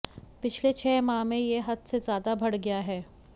पिछले छह माह में यह हद से ज्यादा बढ़ गया है